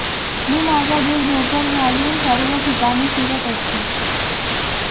मी माझा जीव धोक्यात घालून सर्व ठिकाणी फिरत असतो